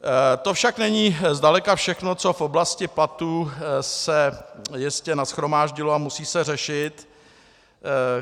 To však není zdaleka všechno, co v oblasti platů se jistě nashromáždilo a musí se řešit.